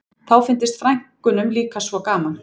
Þá fyndist frænkunum líka svo gaman